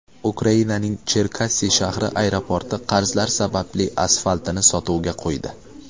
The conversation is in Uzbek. Ukrainaning Cherkassi shahri aeroporti qarzlar sababli asfaltini sotuvga qo‘ydi.